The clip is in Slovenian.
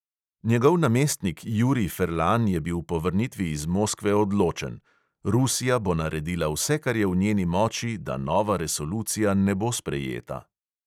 Njegov namestnik jurij ferlan je bil po vrnitvi iz moskve odločen: "rusija bo naredila vse, kar je v njeni moči, da nova resolucija ne bo sprejeta."